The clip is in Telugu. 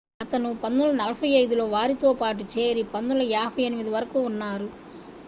అతను 1945 లో వారితో పాటు చేరి 1958 వరకు ఉన్నారు